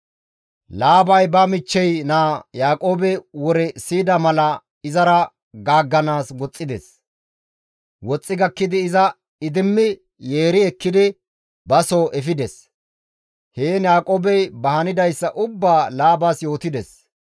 Laabay ba michchey naa Yaaqoobe wore siyida mala izara gaagganaas woxxides; woxxi gakkidi iza idimmi yeeri ekkidi ba soo efides; heen Yaaqoobey ba hanidayssa ubbaa Laabas yootides.